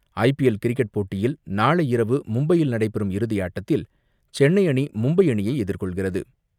IPL cricket போட்டியில் நாளை இரவு மும்பையில் நடைபெறும் இறுதியாட்டத்தில் சென்னை அணி மும்பை அணியை எதிர்கொள்கிறது.